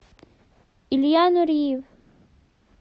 илья нуриев